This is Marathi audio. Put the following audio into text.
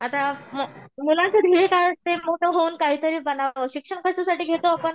आता मुलांचं ध्येय काय वाटतंय मोठं होऊन काहीतरी बनावं शिक्षण कशासाठी घेतो आपण?